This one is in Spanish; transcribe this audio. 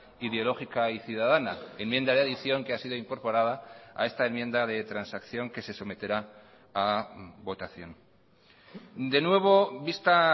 ideológica y ciudadana enmienda de adición que ha sido incorporada a esta enmienda de transacción que se someterá a votación de nuevo vista